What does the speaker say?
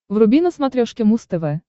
вруби на смотрешке муз тв